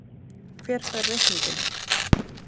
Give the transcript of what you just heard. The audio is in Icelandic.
Hver fær reikninginn?